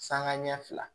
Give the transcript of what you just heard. Sangaɲɛ ɲɛ fila